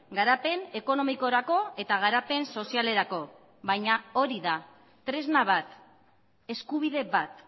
garapen ekonomikorako eta garapen sozialerako baina hori da tresna bat eskubide bat